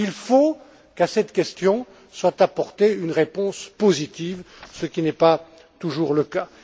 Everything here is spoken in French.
Il faut qu'à cette question soit apportée une réponse positive, ce qui n'est pas toujours le cas.